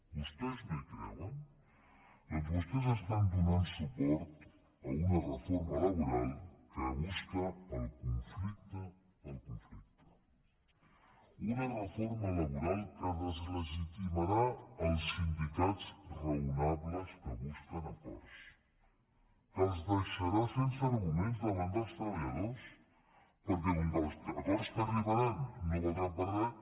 vostès no hi creuen doncs vostès donen suport a una reforma laboral que busca el conflicte per al conflicte una reforma laboral que deslegitimarà els sindicats raonables que busquen acords que els deixarà sense arguments davant dels treballadors perquè com que els acords que arribaran no valdran per a res